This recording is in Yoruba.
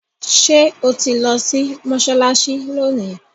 ṣe o tí lò sí Mossalassi lóni?